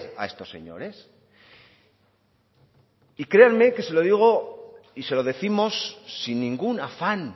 a estos señores y créanme que se lo digo y se lo décimos sin ningún afán